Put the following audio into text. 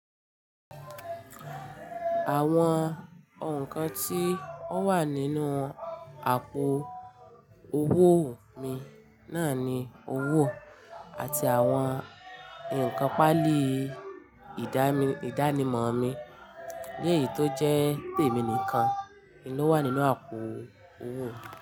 Àwọn nǹkan tí ó wà nínú àpò owó mi náà ni owó àti àwọn nnkan páálì ìdánimọ̀ mi. Lèyì tó jẹ́ tèmi nìkan ni ó wà nínú àpò owó mi.